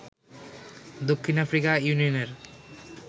দক্ষিণ আফ্রিকা ইউনিয়নের